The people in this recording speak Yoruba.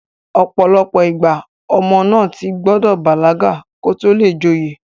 ọ̀pọ̀lọpọ̀ ìgbà, ọmọ náà ti gbọdọ̀ bàlágà kó tó le joyè